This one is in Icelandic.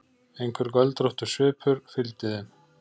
Einhver göldróttur svipur fylgdi þeim.